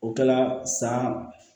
O kɛla san